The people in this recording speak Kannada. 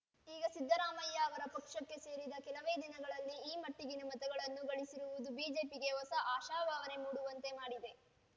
ಈಗ ಸಿದ್ದರಾಮಯ್ಯ ಅವರ ಪಕ್ಷಕ್ಕೆ ಸೇರಿದ ಕೆಲವೇ ದಿನಗಳಲ್ಲಿ ಈ ಮಟ್ಟಿಗಿನ ಮತಗಳನ್ನು ಗಳಿಸಿರುವುದು ಬಿಜೆಪಿಗೆ ಹೊಸ ಆಶಾಭಾವನೆ ಮೂಡುವಂತೆ ಮಾಡಿದೆ